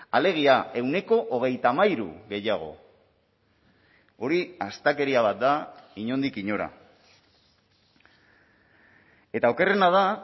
alegia ehuneko hogeita hamairu gehiago hori astakeria bat da inondik inora eta okerrena da